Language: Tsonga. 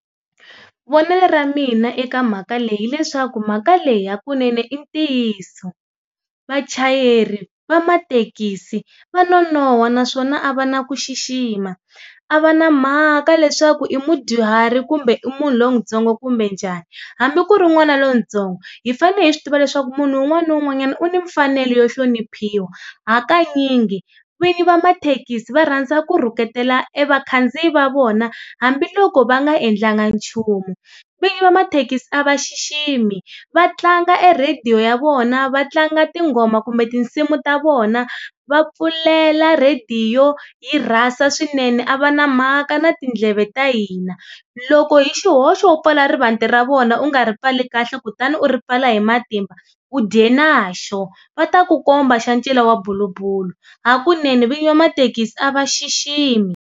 Vonelo ra mina eka mhaka leyi hileswaku mhaka leyi hakunene i ntiyiso, vachayeri va mathekisi va nonoha naswona a va na ku xixima, a va na mhaka leswaku i mudyuhari kumbe i munhu lontsongo kumbe njhani. Hambi ku ri n'wana lontsongo hi fane hi swi tiva leswaku munhu un'wana ni un'wanyana u ni mfanelo yo hloniphiwa hakanyingi vinyi va mathekisi va rhandza ku rhuketela e vakhandziyi va vona hambiloko va nga endlanga nchumu, vinyi va mathekisi a va xiximi, va tlanga e radio ya vona va tlanga tinghoma kumbe tinsimu ta vona va pfulela radio yi rasa swinene a va na mhaka na tindleve ta hina. Loko hi xihoxo u pfala rivati ra vona u nga ri pfali kahle kutani u ri pfala hi matimba u dya na xo, va ta ku komba xa ncila wa bulubulu hakunene vinyi va mathekisi a va xiximi.